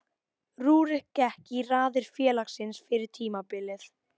Rúrik gekk í raðir félagsins fyrir tímabilið.